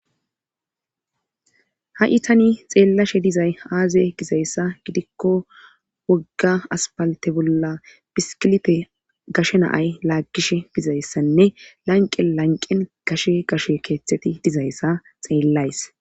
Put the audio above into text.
Ha'i tani xeellashe dizay aaze gizayssa gidikko wogga aspalte bolla biskilipe gashe naay laaggishe bizayssanne lanqen lanqen gashe gashe keeththeti dizayssa xeellays.